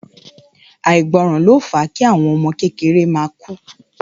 Àìgbọràn ló fa kí àwọn ọmọ kékeré ma kù